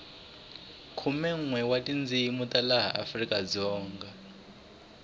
khumenwe wa tindzini ta laha afrikadzonga